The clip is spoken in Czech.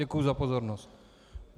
Děkuji za pozornost.